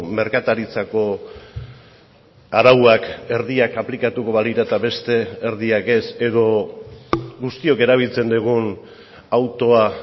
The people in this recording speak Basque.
merkataritzako arauak erdiak aplikatuko balira eta beste erdiak ez edo guztiok erabiltzen dugun autoa